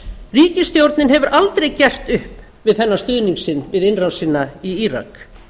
ríkisstjórnin hefur aldrei gert upp við þennan stuðning sinn við innrásina í írak